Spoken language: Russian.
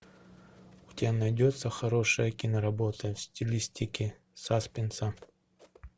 у тебя найдется хорошая киноработа в стилистике саспенса